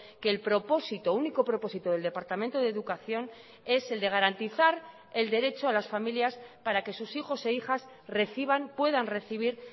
que el propósito único propósito del departamento de educación es el de garantizar el derecho a las familias para que sus hijos e hijas reciban puedan recibir